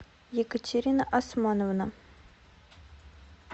екатерина османовна